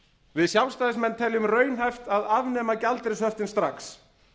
við sjálfstæðismenn teljum raunhæft að afnema gjaldeyrishöftin strax